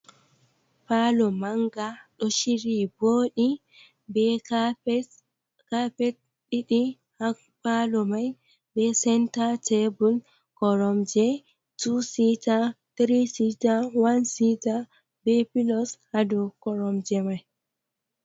Palu manga ɗo shiri boɗo ɓe k20 h palu mai ɓe senta tebul korom je t cta 3 0 1 6ta ɓe pulos hado korom je mai.